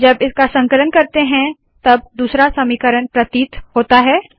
जब इसका संकलन करते है तब दूसरा समीकरण प्रतीत होता है